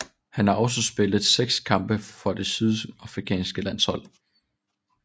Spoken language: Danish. Han har også spillet seks kampe for det sydafrikanske landshold